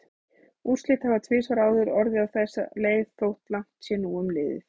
Úrslit hafa tvisvar áður orðið á þessa leið þótt langt sé nú um liðið.